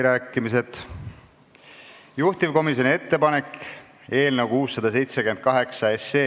Määran eelnõu 678 muudatusettepanekute esitamise tähtajaks k.a 24. oktoobri kell 17.